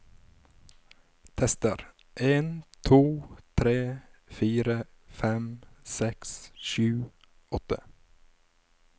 Tester en to tre fire fem seks sju åtte